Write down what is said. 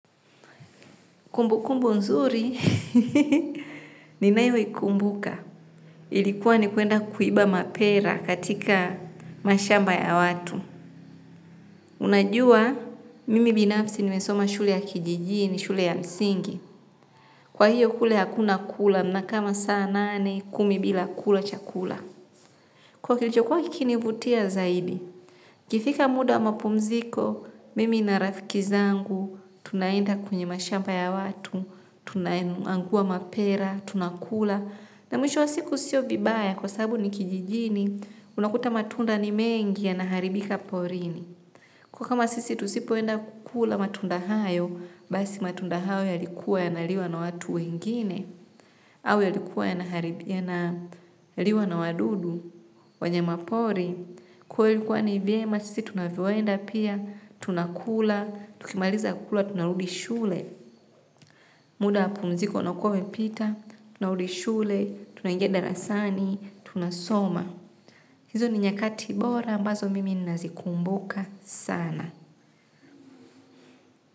Kumbu kumbu nzuri, ninayoikumbuka. Ilikuwa ni kuenda kuiba mapera katika mashamba ya watu. Unajua, mimi binafsi nimesoma shule ya kijijini, shule ya msingi. Kwa hiyo kule hakuna kula, nakaa masaa nane, kumi bila kula chakula. Kuwa kilichokuwa kikini vutia zaidi. Ikifika muda wa mapumziko, mimi na rafiki zangu, tunaenda kwenye mashamba ya watu, tunaangua mapera, tunakula na mwisho wa siku sio vibaya kwa sababu ni kijijini unakuta matunda ni mengi yanaharibika porini kuwa kama sisi tusipoenda kukula matunda hayo basi matunda hayo ya likuwa ya naliwa na watu wengine au yalikuwa yanaharibia na liwa na wadudu wanyama pori, kwa hiyo ilikuwa ni vyema sisi tunavyoenda pia, tunakula tukimaliza kukula, tunarudi shule. Muda wa pumziko unakuwa pita, tunarudi shule, tunaingia darasani, tunasoma. Hizo ni nyakati bora, ambazo mimi nazikumbuka sana.